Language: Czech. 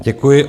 Děkuji.